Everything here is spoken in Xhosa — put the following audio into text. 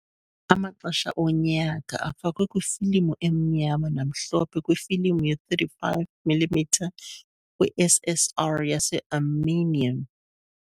"Amaxesha onyaka" afakwe kwifilimu emnyama namhlophe kwifilimu ye-35 mm kwi- SSR yaseArmenian .